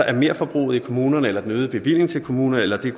at merforbruget i kommunerne eller den øgede bevilling til kommunerne eller det